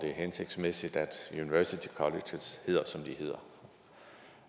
er hensigtsmæssigt at university colleges hedder som de hedder